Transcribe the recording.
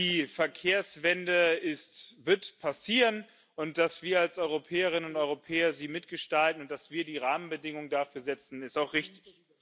Die Verkehrswende wird passieren, und dass wir sie als Europäerinnen und Europäer mitgestalten und dass wir die Rahmenbedingungen dafür setzen, ist auch richtig.